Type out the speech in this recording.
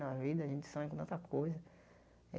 Na vida, a gente sonha com tanta coisa.